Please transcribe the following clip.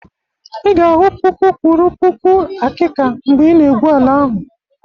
ị ga-ahụ puku kwụrụ puku akika mgbe ị n'egwu ala ahụ